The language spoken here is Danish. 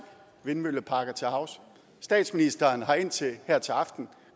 vindmølleparker til havs statsministeren har indtil her til aften